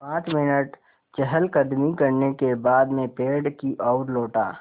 पाँच मिनट चहलकदमी करने के बाद मैं पेड़ की ओर लौटा